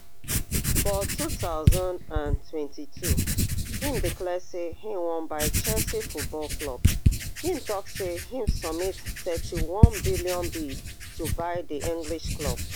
for two thousand and twenty-two im declare say im wan buy chelsea football club im tok say im submit thirty-one billion bid to buy di english club